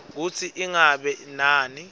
kutsi ingabe nami